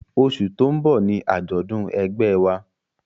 Oṣù tó ń bọ̀ ni àjọ̀dún ẹgbẹ́ ẹ wa